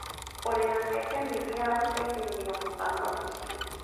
Ũrĩ na mĩeke mĩingĩ ya gũteithĩrĩria mũbango ũcio.